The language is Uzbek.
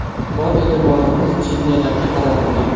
Bor e’tiborimiz chempionatga qaratilgan.